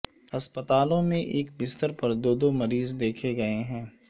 ہسپتالوں میں ایک بستر پر دو دو مریض میں دیکھے گئے ہیں